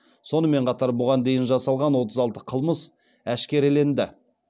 сонымен қатар бұған дейін жасалған отыз алты қылмыс әшкереленді